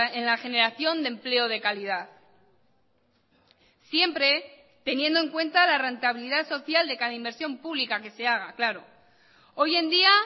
en la generación de empleo de calidad siempre teniendo en cuenta la rentabilidad social de cada inversión pública que se haga claro hoy en día